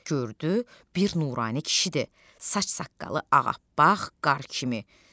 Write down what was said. Gördü bir nurani kişidir, saç saqqalı ağappaq, qar kimi.